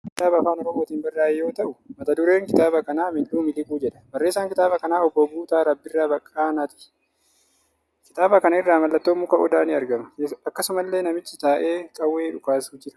Kun kitaaba Afaan Oromootiin barraa'e yoo ta'u, mata dureen kitaaba kanaa 'Mil'uu Miliquu' jedha. Barreessaan kitaaba kana Obbo Guutaa Rabbirraa Baqqaanaati. Kitaaba kana irra mallattoon muka Odaa ni argama. Akkasumallee namichi taa'ee qawwee dhukaasu jira.